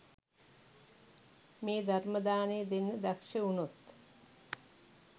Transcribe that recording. මේ ධර්ම දානය දෙන්න දක්ෂ වුණොත්